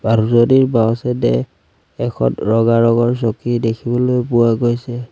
মানুহজনীৰ বাওঁ চাইডে এখন ৰঙা ৰঙৰ চকী দেখিবলৈ পোৱা গৈছে।